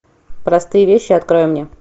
простые вещи открой мне